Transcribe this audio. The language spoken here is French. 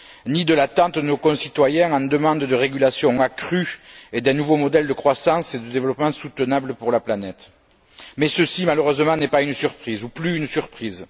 ni à l'attente de nos concitoyens en demande de régulation accrue et d'un nouveau modèle de croissance et de développement soutenable pour la planète. Mais ceci n'est malheureusement pas ou plus une surprise.